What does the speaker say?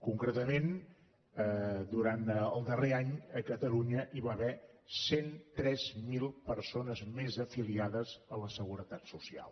concretament durant el darrer any a catalunya hi va haver cent i tres mil persones més afiliades a la seguretat social